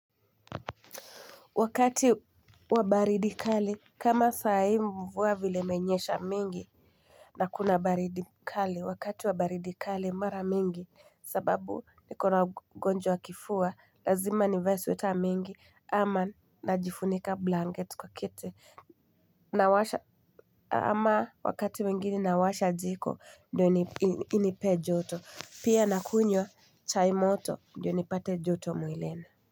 Wakati wa baridi kali kama saa hii mvua vile imenyesha mingi. Na kuna baridi kali wakati wabaridi kali mara mingi sababu nikona ugonjwa wa kifua lazima nivae sweta mingi. Ama najifunika blanketi kwa kiti. Ama wakati mwingine nawasha jiko ndio inipee joto pia nakunywa chai moto ndiyo nipate joto mwilini.